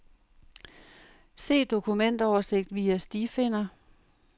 Se dokumentoversigt via stifinder.